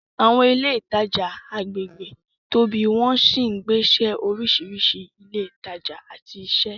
Àwọn ilé ìtajà agbègbè tóbi wọ́n sì ń pèsè oríṣiríṣi ilé ìtajà àti iṣẹ́.